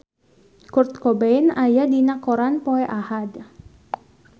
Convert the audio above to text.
Kurt Cobain aya dina koran poe Ahad